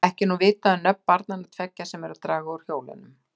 Ekki er nú vitað um nöfn barnanna tveggja, sem eru að draga úr hjólunum.